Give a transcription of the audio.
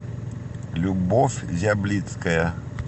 любовь зяблицкая